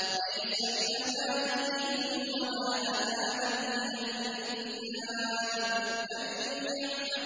لَّيْسَ بِأَمَانِيِّكُمْ وَلَا أَمَانِيِّ أَهْلِ الْكِتَابِ ۗ مَن